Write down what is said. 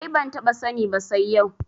Ai ban taɓa sani ba sai yau